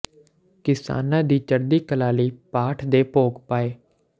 ਕਿਸਾਨਾਂ ਦੀ ਚੜ੍ਹਦੀ ਕਲਾ ਲਈ ਪਾਠ ਦੇ ਭੋਗ ਪਾਏ